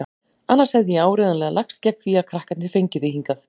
Annars hefði ég áreiðanlega lagst gegn því að krakkarnir fengju þig hingað.